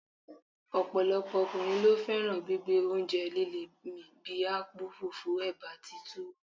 ọ̀pọ̀lọpọ̀ ọkùnrin ló fẹ́ràn gbígbé oúnjẹ líle mì bí akpu, fufu, eba àti tuwo.